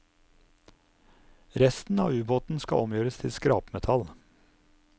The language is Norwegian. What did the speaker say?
Resten av ubåten skal omgjøres til skrapmetall.